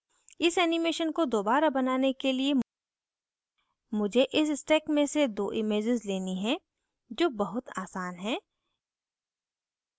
इस animation को दोबारा बनाने के लिए मुझे इस stack में से दो images लेनी हैं जो बहुत आसान है